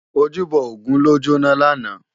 Ójúbò ógùn ló jóná làná